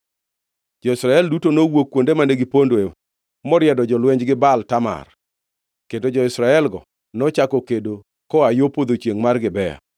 Jo-Israel duto nowuok kuonde mane gipondoe moriedo jolwenjgi Baal Tamar, kendo jo-Israelgo nochako kedo koa yo podho chiengʼ mar Gibea.